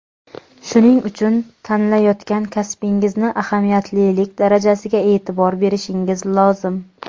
shuning uchun tanlayotgan kasbingizni ahamiyatlilik darajasiga e’tibor berishingiz lozim.